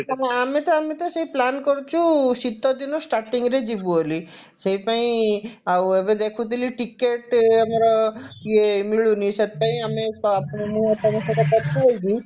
ଆମେ ତ ଆମେ ତ ସେଇ plan କରୁଛୁ ଶୀତଦିନ starting ରେ ଯିବୁ ବୋଲି ସେଇପାଇଁ ଏବେ ଦେଖୁଥିଲି ticket ଆମର ଇଏ ମିଳୁନି ସେଇଥିପାଇଁ ଆମେ ଆପଣଙ୍କ